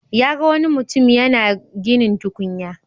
Ya ga wani mutim yana ginin tukunya,